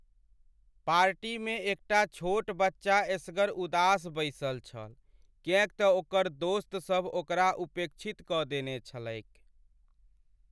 पार्टीमे एकटा छोट बच्चा एसगर उदास बैसल छल, कियैक तँ ओकर दोस्तसभ ओकरा उपेक्षित कऽ देने छलैक।